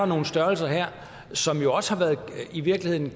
nogle størrelser her som jo også i virkeligheden